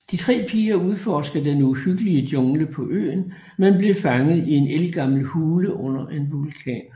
De tre piger udforsker den uhyggelige jungle på øen men bliver fanget i en ældgammel hule under en vulkan